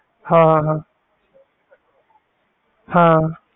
ਹਾਂ ਹਾਂ ਹਾਂ ਹਾਂ।